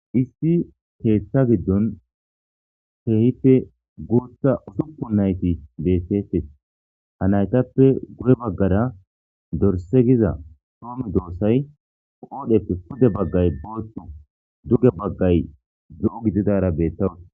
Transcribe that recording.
Issi keeththa giddon heehippe guutha usuppu nayti bettetes ha naytappe gu'e baggara dorse giza soomi doossay qoodheppe pude baggay booththo duge baggay do'o gididara bettawus.